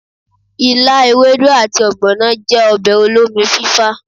ìlá, èwédú ati ogbono jẹ ọbẹ òlómí fífá